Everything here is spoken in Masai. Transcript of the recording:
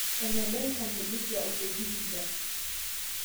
eneba enchan te Busia o te Vihiga